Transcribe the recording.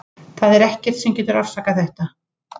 Það er ekkert sem getur afsakað þetta.